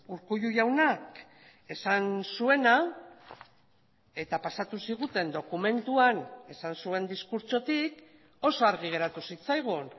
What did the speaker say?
urkullu jaunak esan zuena eta pasatu ziguten dokumentuan esan zuen diskurtsotik oso argi geratu zitzaigun